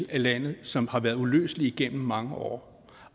af landet som har været uløselige gennem mange år